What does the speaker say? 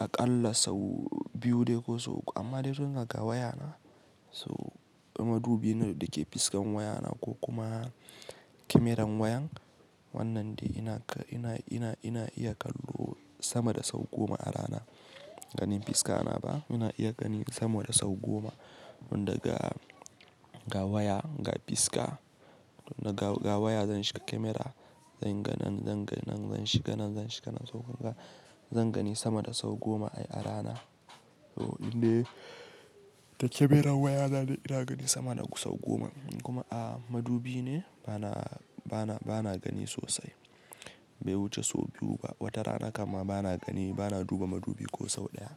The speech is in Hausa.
a ƙalla sau biyu dai ko sau uku amma dai tun daga wayana. So madubi ne da ke fiskan wayana ko kuma kyamaran wayan. Wannan dai ina, ina, ina iya kallo sama da sau goma a rana. Ganin fiska ana ba, ina iya gani sama da sau goma. Tun daga, daga waya, daga fiska, daga waya zan shiga kyamara, zan ga nan, zan ga nan, zan shiga nan, zan shiga nan sau gangan. Zan gani sama da sau goma a rana. So dai da kyamaran wayana dai ina gani sama da sau goma. Kuma a madubi ne bana, bana, bana gani sosai. Bai wuce sau biyu ba. Wata rana kama bana gani, bana duba madubi ko sau ɗaya.